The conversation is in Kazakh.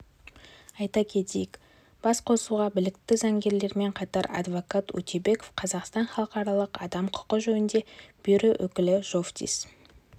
айта кетейік басқосуға білікті заңгерлермен қатар адвокат утебеков қазақстан халықаралық адам құқы жөніндегі бюро өкілі жовтис